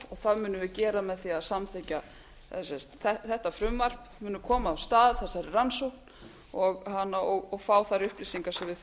það munum við gera með því að samþykkja þetta frumvarp munum koma af stað þessari rannsókn og fá þær upplýsingar sem við